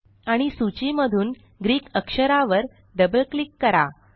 आणि सूची मधून ग्रीक अक्षरावर डबल क्लिक करा